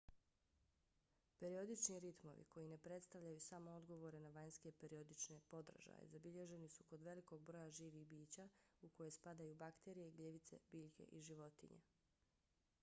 periodični ritmovi koji ne predstavljaju samo odgovore na vanjske periodične podražaje zabilježeni su kod velikog broja živih bića u koje spadaju bakterije gljivice biljke i životinje